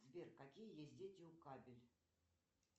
сбер какие есть дети у кабель